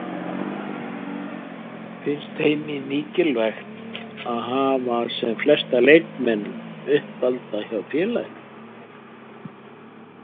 Finnst Heimi mikilvægt að hafa sem flesta leikmenn uppalda hjá félaginu?